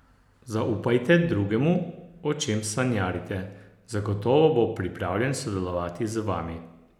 Zaupajte dragemu, o čem sanjarite, zagotovo bo pripravljen sodelovati z vami.